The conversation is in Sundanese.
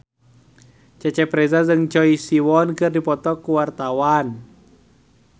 Cecep Reza jeung Choi Siwon keur dipoto ku wartawan